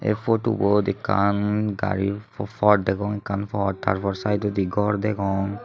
putobot ekkan gari pod degong ekkan pod tar por sidodi gor degong.